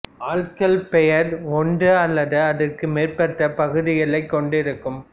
ஆள்களப் பெயர் ஒன்று அல்லது அதற்கு மேற்பட்ட பகுதிகளைக் கொண்டிருக்கும்